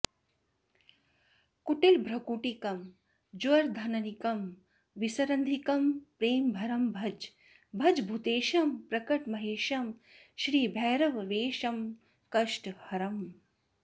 कुटिलभ्रुकुटीकं ज्वरधननीकं विसरन्धीकं प्रेमभरं भज भज भूतेशं प्रकटमहेशं श्रीभैरववेषं कष्टहरम्